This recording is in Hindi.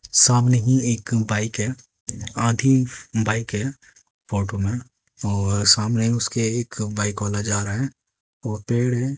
सामने ही एक बाइक है आधी बाइक है फोटो में और सामने ही उसके एक बाइक वाला जा रहा है और पेड़ है।